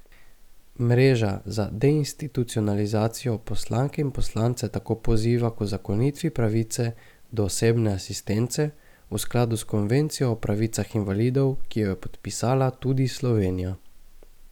Mreža za deinstitucionalizacijo poslanke in poslance tako poziva k uzakonitvi pravice do osebne asistence v skladu s konvencijo o pravicah invalidov, ki jo je podpisala tudi Slovenija.